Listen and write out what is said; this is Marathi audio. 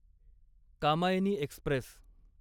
कामायनी एक्स्प्रेस